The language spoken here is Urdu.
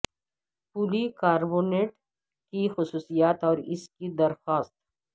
پولی کاربونیٹ کی خصوصیات اور اس کی درخواست